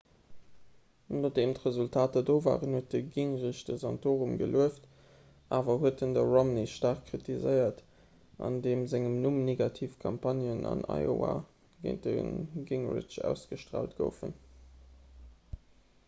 nodeem d'resultater do waren huet de gingrich de santorum gelueft awer en huet de romney staark kritiséiert an deem sengem numm negativ campagnen an iowa géint de gingrich ausgestraalt goufen